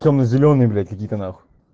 темно-зелёный блять какие-то нахуй